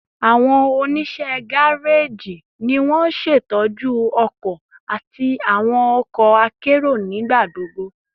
Awọn oniṣẹ gareji ni won ṣetọju ọkọ ati awọn ọkọ akero nigbagbogbo